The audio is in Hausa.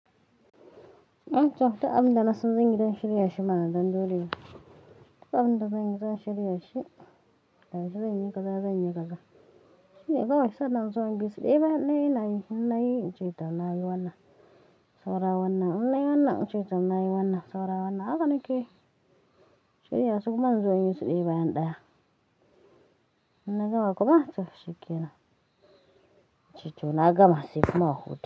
In ce wa duk abin da na san zan yi don shirya shi mana dan dole. In ce wa duk abin da na san zan yi don shirya shi mana dan dole Shi ne kawai sai na zo in bisu ɗaya bayan ɗaya ina yin inna yi, in ce to na yi wannan, saura wannan, inna yi wannan, in ce tom na yi wannan, saura wannan. Haka nake yi. Shirya su kuma in zo in yi su ɗaya-ɓaya ɗaya. Ina gama kuma in tafi shikenan In ce to na gama sai kuma hutu.